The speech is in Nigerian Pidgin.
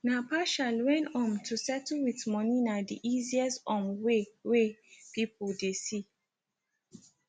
na partial when um to settle with moni na di easiest um way wey people dey see